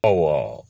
Awɔ